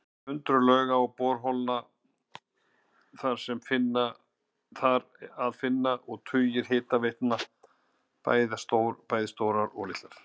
Hundruð lauga og borholna er þar að finna og tugir hitaveitna, bæði stórar og litlar.